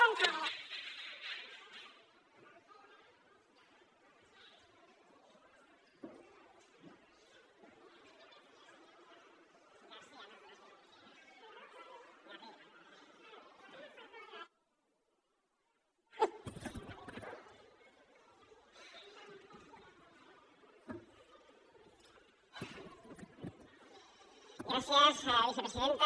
gràcies vicepresidenta